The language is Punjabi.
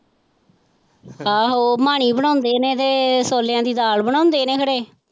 ਆਹੋ ਮਾਣੀ ਬਣਾਉਂਦੇ ਨੇ ਤੇ ਛੋਲਿਆਂ ਦੀ ਦਾਲ ਬਣਾਉਂਦੇ ਨੇ ਖਰੇ।